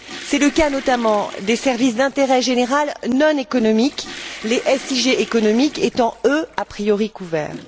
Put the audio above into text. C'est le cas, notamment, des services d'intérêt général non économiques, les SIG économiques étant, eux, a priori couverts.